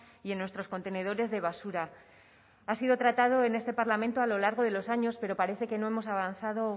y en nuestros contenedores de basura ha sido tratado en este parlamento a lo largo de los años pero parece que no hemos avanzado